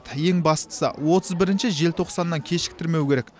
ең бастысы отыз бірінші желтоқсаннан кешіктірмеу керек